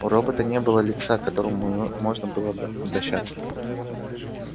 у робота не было лица к которому можно было бы обращаться